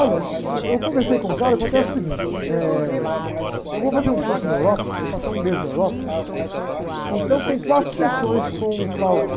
Olha, uh, eu conversei com o cara, acontece o seguinte, eh, eu vou fazer um curso na Europa, vou passar um mês na Europa, então tem quatro sessões com o.